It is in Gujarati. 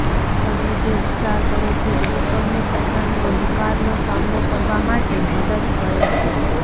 તમે જે ઉપચાર કરો છો તે તમને પોતાને અંધકારનો સામનો કરવા માટે મદદ કરે છે